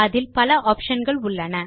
அதில் பல ஆப்ஷன் கள் உள்ளன